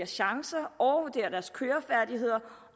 chancer overvurderer deres kørefærdigheder